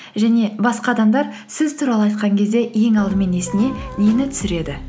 және басқа адамдар сіз туралы айтқан кезде ең алдымен есіне нені түсіреді